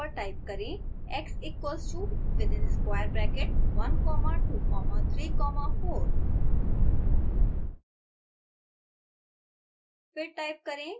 console window पर type करें x equals to within square bracket one comma two comma three comma four